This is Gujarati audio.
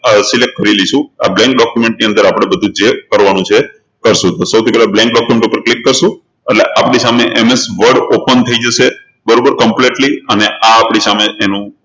આ select કરી લઈશું આ blank document ની અંદર આપણે બધું જે કરવાનું છે એ કરશું તો સૌથી પહેલા blank document ઉપર click કરશું એટલે આપણી સામે MSwordopen થઇ જશે બરોબર completely અને આ આપણી સામે તેનુ